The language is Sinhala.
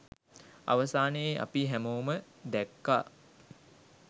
අවසානයේ අපි හැමෝම දැක්කා